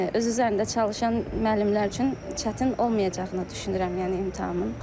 Öz üzərində çalışan müəllimlər üçün çətin olmayacağını düşünürəm, yəni imtahanın.